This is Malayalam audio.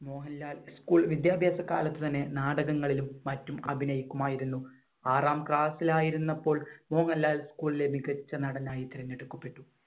മോഹൻലാൽ school വിദ്യാഭ്യാസകാലത്ത് തന്നെ നാടകങ്ങളിലും മറ്റും അഭിനയിക്കുമായിരുന്നു. ആറാം class ലായിരുന്നപ്പോൾ മോഹൻലാൽ school ലെ മികച്ച നടനായി തിരഞ്ഞെടുക്കപ്പെട്ടു.